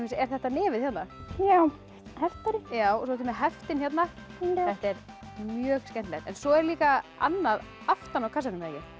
er þetta nefið hérna já heftari svo ertu með heftin hérna þetta er mjög skemmtilegt svo er líka annað aftan á kassanum